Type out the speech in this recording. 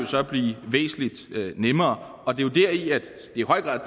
så blive væsentlig nemmere og det er jo i høj grad